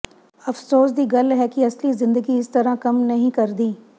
ਅਫ਼ਸੋਸ ਦੀ ਗੱਲ ਹੈ ਕਿ ਅਸਲੀ ਜ਼ਿੰਦਗੀ ਇਸ ਤਰ੍ਹਾਂ ਕੰਮ ਨਹੀਂ ਕਰਦੀ